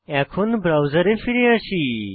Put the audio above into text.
এখন ব্রাউজারে ফিরে আসি